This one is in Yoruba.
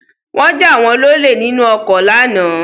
Wọ́n jà wọ́n lọlé nínú ọkọ lánàá